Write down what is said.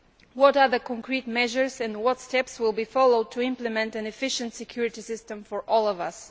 What other concrete measures and what steps will be followed to implement an efficient security system for all of us?